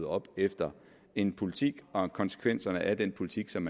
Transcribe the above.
op efter en politik og konsekvenserne af den politik som